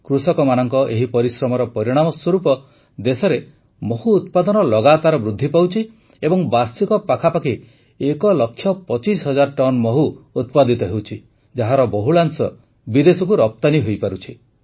କୃଷକମାନଙ୍କ ଏହି ପରିଶ୍ରମର ପରିଣାମ ସ୍ୱରୂପ ଦେଶରେ ମହୁ ଉତ୍ପାଦନ ଲଗାତାର ବୃଦ୍ଧି ପାଉଛି ଏବଂ ବାର୍ଷିକ ପାଖାପାଖି ଏକଲକ୍ଷ ପଚିଶ ହଜାର ଟନ୍ ମହୁ ଉତ୍ପାଦିତ ହେଉଛି ଯାହାର ବହୁଳାଂଶ ବିଦେଶକୁ ରପ୍ତାନୀ ହୋଇପାରୁଛି